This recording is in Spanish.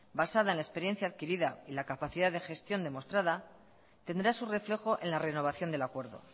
basada en la experiencia adquirida y la capacidad de gestión demostrada tendrá su reflejo en la renovación del acuerdo